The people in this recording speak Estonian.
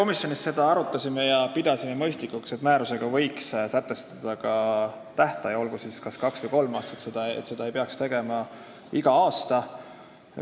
Me komisjonis seda arutasime ja pidasime mõistlikuks, et määrusega võiks sätestada ka tähtaja, olgu see kas kaks või kolm aastat, seda koolitust ei peaks tegema iga aasta.